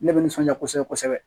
Ne bɛ nisɔndiya kosɛbɛ kosɛbɛ